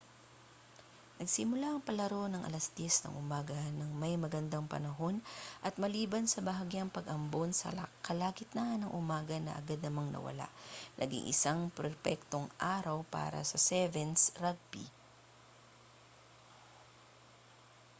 nagsimula ang palaro nang alas 10:00 ng umaga na may magandang panahon at maliban sa bahagyang pag-ambon sa kalagitnaan ng umaga na agad namang nawala naging isa iyong perpektong araw para sa 7's rugby